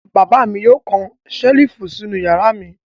Bàbá mi yóò kan ṣẹ́lífù sínú ìyàrá mi.